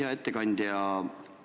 Hea ettekandja!